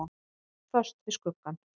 Föst við skuggann.